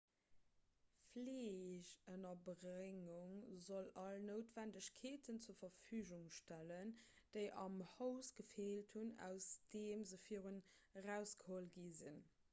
fleegënnerbréngung soll all noutwennegkeeten zur verfügung stellen déi am haus gefeelt hunn aus deem se virdrun erausgeholl gi sinn